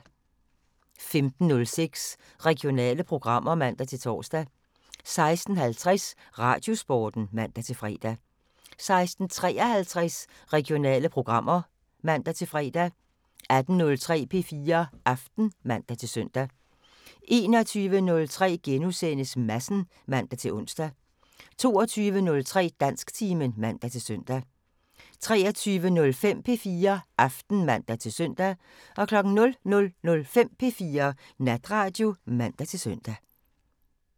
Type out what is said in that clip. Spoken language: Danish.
15:06: Regionale programmer (man-tor) 16:50: Radiosporten (man-fre) 16:53: Regionale programmer (man-fre) 18:03: P4 Aften (man-søn) 21:03: Madsen *(man-ons) 22:03: Dansktimen (man-søn) 23:05: P4 Aften (man-søn) 00:05: P4 Natradio (man-søn)